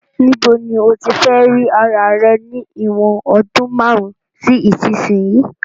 Ni bo ni o tí fe ri ara rẹ ni ìwòn odún marun si isínsìnyí